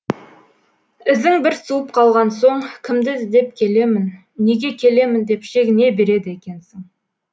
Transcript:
ізің бір суып қалған соң кімді іздеп келемін неге келемін деп шегіне береді екенсің